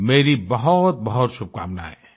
मेरी बहुतबहुत शुभकामनाएं